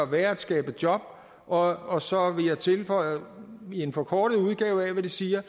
være at skabe job og og så vil jeg tilføje i en forkortet udgave af hvad de siger